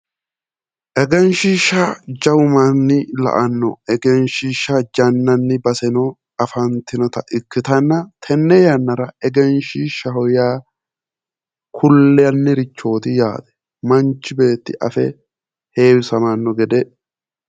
Egenshshiishsha, Egenshshiishsha jawu manni la'anno Egenshshiishsha jannanni baseno afantinota ikkitanna tenne yannara Egenshshiishshaho yaa kullannirichooti yaate manchi beetti afe heewisamanno gede.